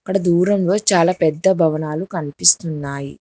ఆడ దూరంగా చాలా పెద్ద భవనాలు కనిపిస్తూ ఉన్నాయి.